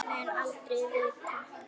Mun aldrei vita.